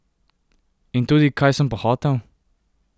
In tudi, kaj sem pa hotel?